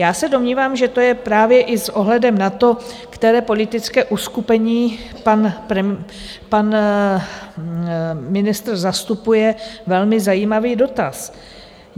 Já se domnívám, že to je právě i s ohledem na to, které politické uskupení pan ministr zastupuje, velmi zajímavý dotaz.